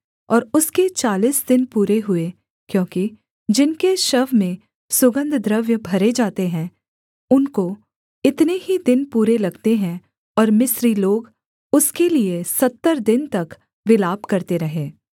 और उसके चालीस दिन पूरे हुए क्योंकि जिनके शव में सुगन्धद्रव्य भरे जाते हैं उनको इतने ही दिन पूरे लगते है और मिस्री लोग उसके लिये सत्तर दिन तक विलाप करते रहे